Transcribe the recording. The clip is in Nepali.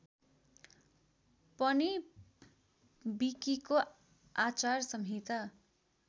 पनि विकिको आचार संहिता